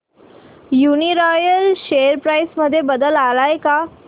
Uniroyal share price मध्ये बदल आलाय का